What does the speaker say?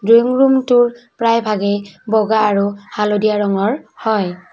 Drawing ৰুমটোৰ প্ৰায় ভাগে বগা আৰু হালধীয়া ৰঙৰ হয়।